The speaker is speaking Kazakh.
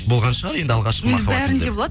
болған шығар енді алғашқы махаббат енді бәрінде болады